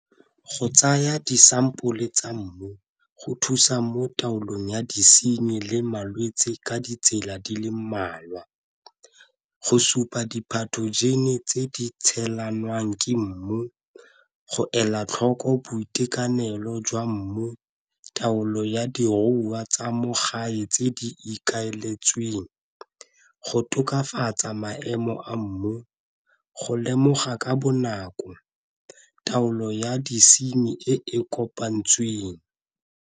Go tsaya disampole tsa mmu go thusa mo taolong ya disenyi le malwetse ka ditsela di le mmalwa, go supa tse di tshelanwang ke mmu, go ela tlhoko boitekanelo jwa mmu, taolo ya diruiwa tsa mo gae tse di ikaeletsweng, go tokafatsa maemo a mmu, go lemoga ka bonako taolo ya disenyi e e kopantsweng.